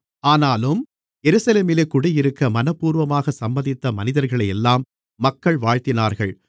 ஆனாலும் எருசலேமிலே குடியிருக்க மனப்பூர்வமாகச் சம்மதித்த மனிதர்களையெல்லாம் மக்கள் வாழ்த்தினார்கள்